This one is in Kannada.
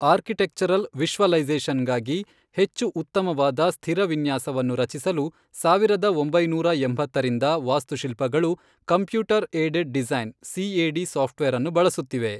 ಆರ್ಕಿಟೆಕ್ಚರಲ್ ವಿಶ್ವಲೈಝಷನ್ ಗಾಗಿ ಹೆಚ್ಚು ಉತ್ತಮವಾದ ಸ್ಥಿರ ವಿನ್ಯಾಸವನ್ನು ರಚಿಸಲು ಸಾವಿರದ ಒಂಬೈನೂರಾ ಎಂಭತ್ತರಿಂದ ವಾಸ್ತುಶಿಲ್ಪಗಳು computer aided design CAD soft ವೇರನ್ನು ಬಳಸುತ್ತಿವೆ.